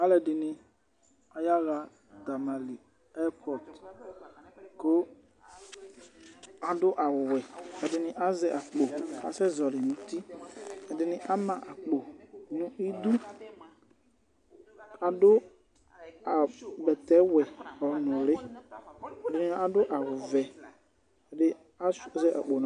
Alʋɛdɩnɩ ayaɣa tamale ɛrpɔt kʋ adʋ awʋwɛ Ɛdɩnɩ azɛ akpo kʋ asɛzɔɣɔlɩ nʋ uti Ɛdɩnɩ ama akpo nʋ idu kʋ adʋ a bɛtɛwɛnʋlɩ Ɛdɩnɩ adʋ awʋvɛ Ɛdɩ asʋɩa zɛ akpo nʋ aɣla